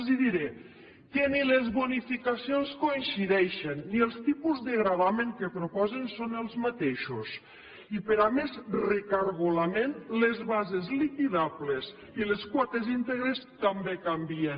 els diré que ni les bonificacions coincideixen ni els tipus de gravamen que proposen són els mateixos i per a més recargolament les bases liquidables i les quotes íntegres també canvien